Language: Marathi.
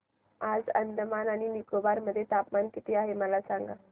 आज अंदमान आणि निकोबार मध्ये तापमान किती आहे मला सांगा